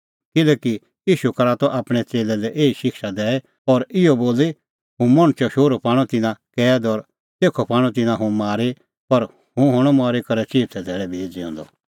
किल्हैकि ईशू करा त आपणैं च़ेल्लै लै एही शिक्षा दैई और इहअ बोली हुंह मणछो शोहरू पाणअ तिन्नां कैद और तेखअ पाणअ तिन्नां हुंह मारी पर हुंह हणअ मरी करै चिऊथै धैल़ै भी ज़िऊंदअ